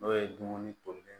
N'o ye dumuni tolilen ye